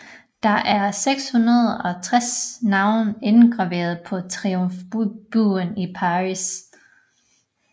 Der er 660 navne indgraveret på Triumfbuen i Paris